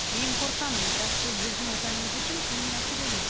мен қорқамын бірақ бұл біздің отанымыз үшін қиын мәселе емес